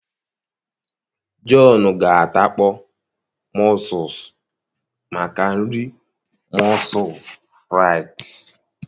John ga adakpọ mussels maka nri moules frites